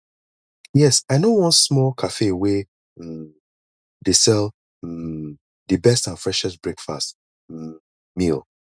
yes i know one small cafe wey um dey sell um di best and freshest breakfast um meal